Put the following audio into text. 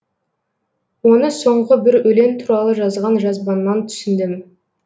оны соңғы бір өлең туралы жазған жазбаңнан түсіндім